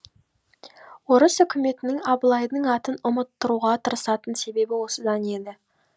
орыс үкіметінің абылайдың атын ұмыттыруға тырысатын себебі осыдан еді